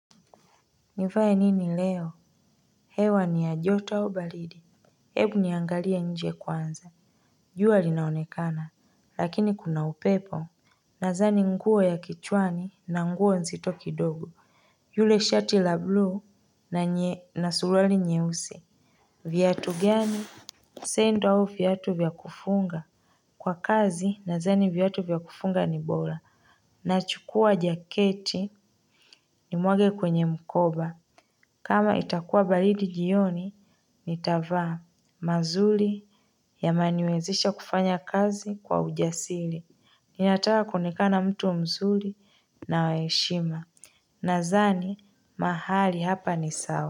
Nifaye nini leo hewa ni ya joto au baridi. Hebu niangalia nje kwanza jua linaonekana lakini kuna upepo. Nadhani nguo ya kichwani na nguo nzito kidogo. Yule shati la bluu na surali nyeusi. Viatu gani sendo au viatu vya kufunga. Kwa kazi nadhani viatu vya kufunga ni bora. Nachukua jaketi nimwage kwenye mkoba. Kama itakuwa baridi jioni, nitavaa mazuri yameniwezisha kufanya kazi kwa ujasiri. Ninataka kuonekana mtu mzuri na wa heshima. Nadhani, mahali hapa ni sawa.